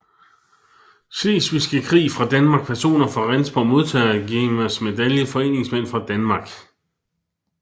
Slesvigske Krig fra Danmark Personer fra Rendsborg Modtagere af Gerners Medalje Foreningsformænd fra Danmark